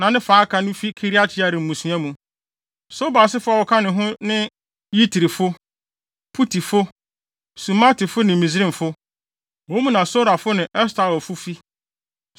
na ne fa a aka no fi Kiriat-Yearim mmusua mu. Sobal asefo a wɔka ho ne Yitrifo, Putifo, Sumatifo ne Misraimfo, wɔn mu na Sorafo ne Estaolfo fi.